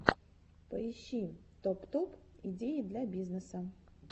поищи топ топ идеи для бизнеса